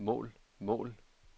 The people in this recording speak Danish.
mål mål mål